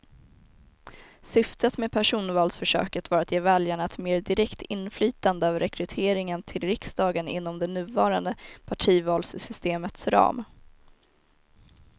Syftet med personvalsförsöket var att ge väljarna ett mer direkt inflytande över rekryteringen till riksdagen inom det nuvarande partivalssystemets ram.